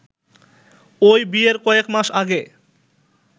ওই বিয়ের কয়েক মাস আগে